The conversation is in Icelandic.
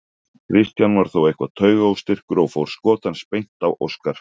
Kristján var þó eitthvað taugaóstyrkur og fór skot hans beint á Óskar.